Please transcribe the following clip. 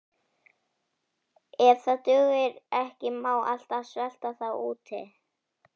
Ef það dugir ekki má alltaf svelta þá úti.